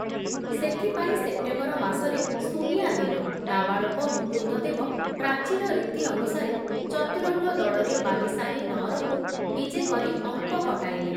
ସେଥିପାଇଁ ସେପ୍ଟେମ୍ବର ମାସରେ ସୁନିଆଁ ଦିନ ନାବାଳକ ମୁକୁନ୍ଦଦେବ ପ୍ରାଚୀନ ରୀତି ଅନୁସାରେ ଚତୁରଙ୍ଗ ଦଳରେ ବାଲିସାହି ନଅରକୁ ବିଜେ କରି ଅଙ୍କ କଟାଇଲେ ।